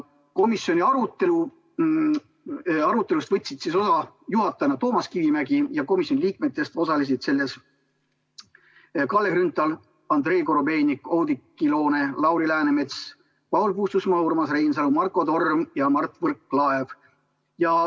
Komisjoni arutelust võtsid osa juhatajana Toomas Kivimägi ja komisjoni liikmed Kalle Grünthal, Andrei Korobeinik, Oudekki Loone, Lauri Läänemets, Paul Puustusmaa, Urmas Reinsalu, Marko Torm ja Mart Võrklaev.